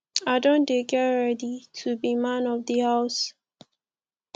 i don dey get ready to be man of di house